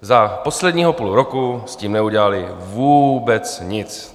Za posledního půl roku s tím neudělali vůbec nic.